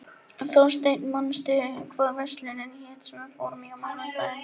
Þórsteinn, manstu hvað verslunin hét sem við fórum í á mánudaginn?